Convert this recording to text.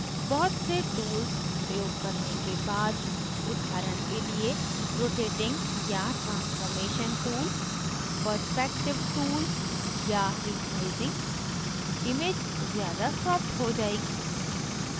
बहुत से tools प्रयोग करने के बाद उदाहरण के लिए rotating या transformation tools perspective tools या resizing image ज़्यादा softer हो जाएगी